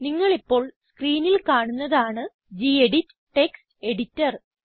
നിങ്ങളിപ്പോൾ സ്ക്രീനിൽ കാണുന്നതാണ് ഗെഡിറ്റ് ടെക്സ്റ്റ് എഡിറ്റർ